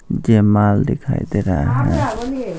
जमाल दिखाई दे रहा है।